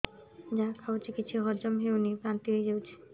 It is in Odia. ଯାହା ଖାଉଛି କିଛି ହଜମ ହେଉନି ବାନ୍ତି ହୋଇଯାଉଛି